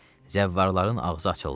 Zəvvarların ağzı açıldı.